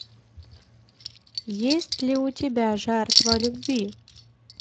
есть ли у тебя жертва любви